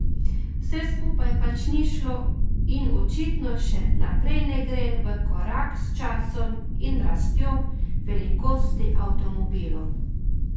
Vse skupaj pač ni šlo in očitno še naprej ne gre v korak s časom in rastjo velikosti avtomobilov.